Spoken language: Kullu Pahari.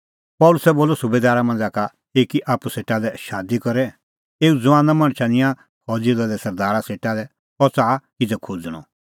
पल़सी बोलअ सुबैदारा मांझ़ै एक आप्पू सेटा लै शादी करै एऊ ज़ुआना मणछा निंयां फौज़ी दले सरदारा सेटा लै अह च़ाहा किज़ै खोज़णअ